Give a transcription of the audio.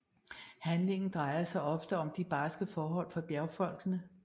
Handlingen drejer sig ofte om de barske forhold for bjergfolkene